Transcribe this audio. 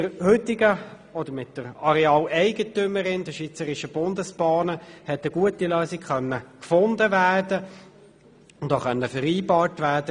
Mit der Arealeigentümerin, den Schweizerischen Bundesbahnen (SBB), konnte eine gute Lösung gefunden und vereinbart werden.